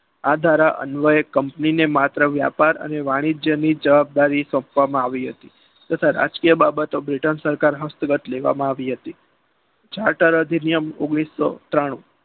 આ ધારા અન્વયે company ને માત્ર વ્યાપાર અને વાણિજ્ય ની જવાબદારી સોંપવામાં આવી હતી. તથા રાજકીય બાબતો britain સરકાર હસ્તગત લેવામાં આવી હતી જળધારા નિયમ ઓગણીસો ત્રાણું